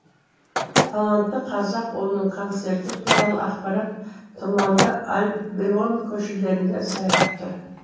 талантты қазақ ұлының концерті туралы ақпарат тұманды альбион көшелерінде сайрап тұр